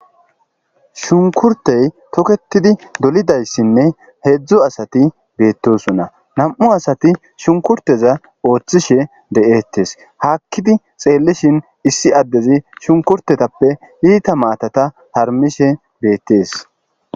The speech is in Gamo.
shunkurtey toketidi dolidayssinne heedzdzu asati beettosona nam'u asati shunkurteza ooththishe de'eettes haakkidi xeellishin issi addezi shunkurtetappe iita maatata harmishe beettees